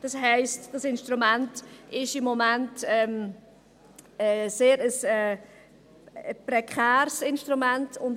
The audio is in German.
Das heisst, dass dieses Instrument im Moment ein sehr prekäres Instrument ist.